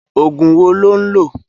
Ógún wó ló n lö?